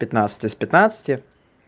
пятнадцать из пятнадцати